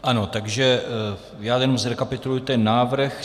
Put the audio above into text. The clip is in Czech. Ano, takže já jenom zrekapituluji ten návrh.